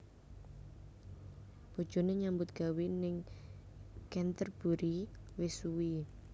Bojone nyambut gawe ning Canterburry wis suwi